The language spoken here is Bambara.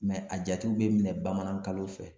a jatew bɛ minɛ bamanan kalo fɛ.